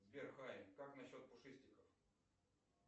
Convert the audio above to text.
сбер хай как насчет пушистиков